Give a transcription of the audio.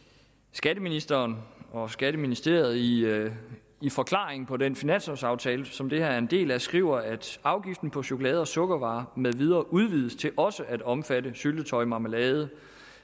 skatteministeren og skatteministeriet i i forklaringen på den finanslovaftale som det her er en del af skriver at afgiften på chokolade og sukkervarer med videre udvides til også at omfatte syltetøj marmelade